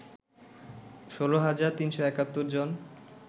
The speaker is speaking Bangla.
১৬ হাজার ৩৭১ জন